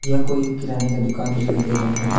यह कोई एक किराने का दुकान दिखाई दे रहा है।